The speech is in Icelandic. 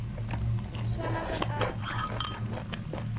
Svona var allt.